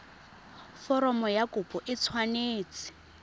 foromo ya kopo e tshwanetse